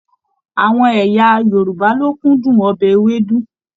Àwọn ẹ̀yà Yorùbá lo kúndùn ọbẹ Ewédú.